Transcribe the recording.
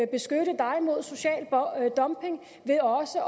beskytte dig mod social dumping ved også